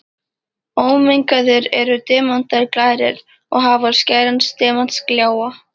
Ómengaðir eru demantar glærir og hafa skæran demantsgljáa.